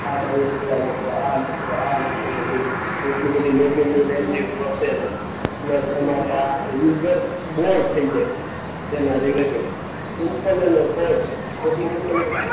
આ બાયોડેટા નાંખો, આ નાંખો, આ નાંખો બધું. એટલું બધું લોગ ઈનનું લેન્ધી પ્રોસેસ. પ્લસ તમારે આ યુઝર બોર થઈ જાય એના રિલેટેડ. સિમ્પલ અને શોર્ટ એપ્લિકેશન